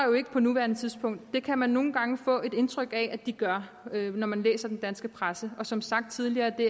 på nuværende tidspunkt det kan man nogle gange få indtryk af at de gør når man læser den danske presse og som sagt tidligere er det